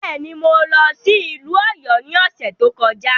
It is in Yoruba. Bẹ́ẹ̀ ni, mo lọ sí ìlú Ọ̀yọ́ ní ọ̀sẹ̀ tó kọjá.